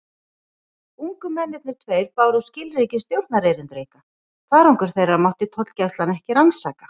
Ungu mennirnir tveir báru skilríki stjórnarerindreka: farangur þeirra mátti tollgæslan ekki rannsaka.